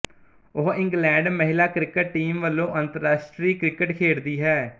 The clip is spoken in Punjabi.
ਉਹ ਇੰਗਲੈਂਡ ਮਹਿਲਾ ਕ੍ਰਿਕਟ ਟੀਮ ਵੱਲੋਂ ਅੰਤਰਰਾਸ਼ਟਰੀ ਕ੍ਰਿਕਟ ਖੇਡਦੀ ਹੈ